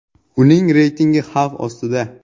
Uning reytingi xavf ostida.